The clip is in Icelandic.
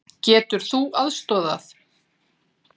Getur þú aðstoðað?